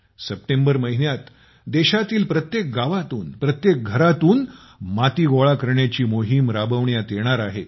September महिन्यात देशातील प्रत्येक गावातून प्रत्येक घरातून माती गोळा करण्याची मोहीम राबविण्यात येणार आहे